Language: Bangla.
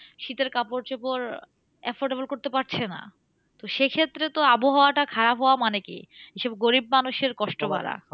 শীতের কাপড় চোপড় affordable করতে পারছে না। তো সেক্ষেত্রে তো আবহাওয়াটা খারাপ হওয়া মানে কি? এইসব গরিব মানুষের কষ্ট বারা।